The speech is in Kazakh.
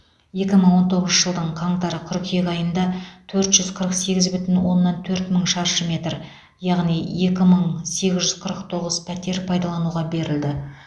екі мың он тоғызыншы жылдың қаңтар қыркүйек айында төрт жүз қырық сегіз бүтін оннан төрт мың шаршы метр яғни екі мың сегіз жүз қырық тоғыз пәтер пайдалануға берілді